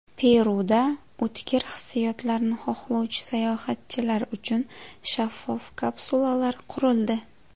Peruda o‘tkir hissiyotlarni xohlovchi sayohatchilar uchun shaffof kapsulalar qurildi .